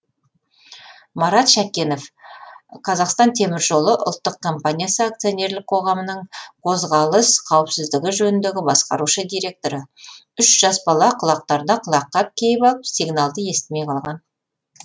марат шәкенов қазақстан темір жолы ұлттық компаниясы акционерлік қоғамының қозғалыс қауіпсіздігі жөніндегі басқарушы директоры үш жас бала құлақтарына құлаққап киіп алып сигналды естімей қалған